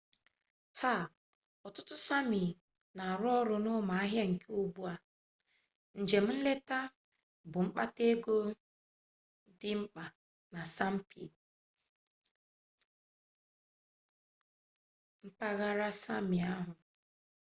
taa ọtụtụ sami na-arụ ọrụ n'ụmụ ahịa nke ugbu a njem nleta bụ mkpata egọ dị mkpa na sapmi mpaghara sami ahụ